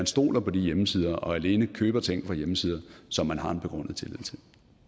stoler på hjemmesider og alene køber ting fra hjemmesider som man har en begrundet tillid til